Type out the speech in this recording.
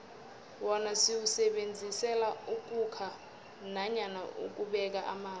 wona siwusebenzisela ukhukha nanyana ukubeka amanzi